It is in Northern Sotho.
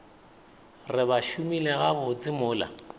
re ba šomile gabotse mola